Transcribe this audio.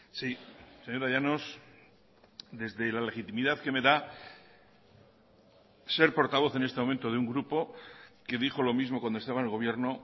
sí señora llanos desde la legitimidad que me da ser portavoz en este momento de un grupo que dijo lo mismo cuando estaba en el gobierno